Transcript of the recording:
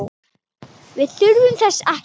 Nei, við þurfum þess ekki.